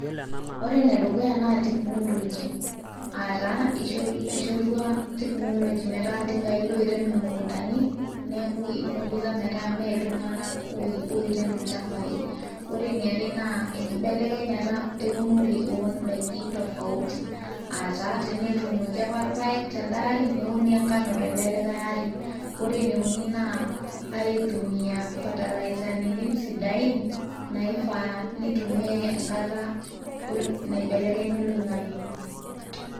ore enedukuya naa technology aataa eishorua technology metaa iltinkai loirem imukuntani neeku ipunguza metaa mee iltung'anak oirem ilchambai ore eniare naa enkibelekenyata eunore oondaiki tofauti ataa tenetuunoki apa irpayek telde ari neuni enkano tele likay ari ore ene uni naa aitumia fatalaizarin sidain naifaa nitumiay enkata naibelekenya oloing'ang'e.